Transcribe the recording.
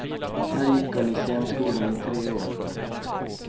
Här gick hon i scenskolan i tre år.